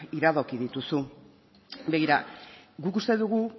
iradoki dituzu begira guk uste dugu